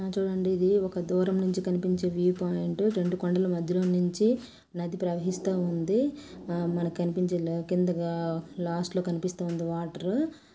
హ చూడండి ఇది ఒక దూరం నుంచి కనిపించే వ్యూ పాయింట్ రెండు కొండల మధ్యలో నుంచి నది ప్రవహిస్తా ఉంది. మనకి కన్పించే లా కింద లాస్ట్ లో కన్పిస్తుంది. వాటర్ రూ